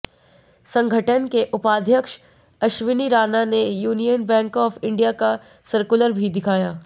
संगठन के उपाध्यक्ष अश्वनी राणा ने यूनियन बैंक ऑफ इंडिया का सर्कुलर भी दिखाया